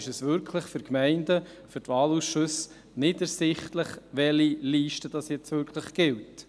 Dann wäre es für die Gemeinden und die Wahlausschüsse nicht ersichtlich, welche Liste nun wirklich gilt.